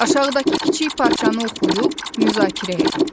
Aşağıdakı kiçik parçanı oxuyub müzakirə edin.